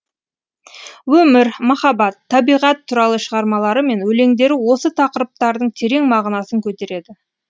өмір махаббат табиғат туралы шығармалары мен өлеңдері осы тақырыптардың терең мағынасын көтереді